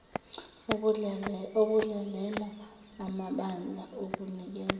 okudlalela amabandla okunikeza